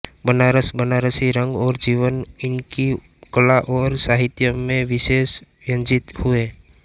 बनारस बनारसी रंग और जीवन इनकी कला और साहित्य में विशेष व्यंजित हुए